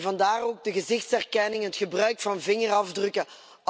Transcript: Vandaar ook de gezichtsherkenning en het gebruik van vingerafdrukken.